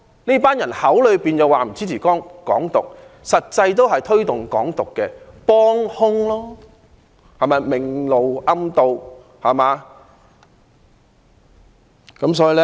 這群人口說不支持"港獨"，實際也是推動"港獨"的幫兇，明修棧道，暗渡陳倉。